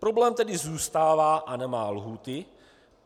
Problém tedy zůstává a nemá lhůty.